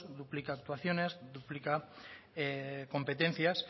duplica actuaciones duplica competencias